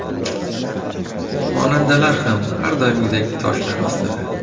Xonandalar ham har doimgidek toshlar ostida.